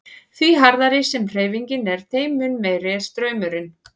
Því hraðari sem hreyfingin er þeim mun meiri er straumurinn.